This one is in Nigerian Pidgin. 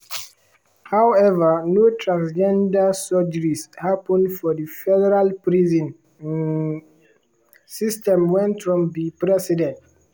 however no transgender surgeries happun for di federal prison um system wen trump be president.